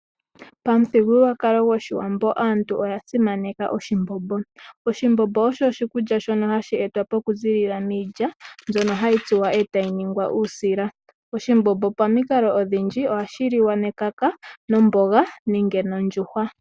Pamuthigululwakalo gwoshiwambo aantu oya simaneka oshimbombo. Oshimbombo osho oshikulya shono hashi etwapo okuziilila miilya, mbyono hayi tsuwa, e tayi ningwa uusila. Oshimbombo pamikalo odhindji ohashi liwa nomboga nenge nondjuhwa.